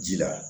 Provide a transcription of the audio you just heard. Ji la